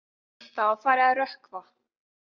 Það var farið að rökkva.